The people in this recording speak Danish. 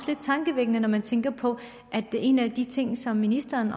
lidt tankevækkende når man tænker på at en af de ting som ministeren